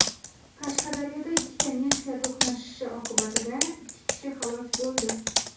Qashqadaryoda ikki Nexia to‘qnashishi oqibatida ikki kishi halok bo‘ldi.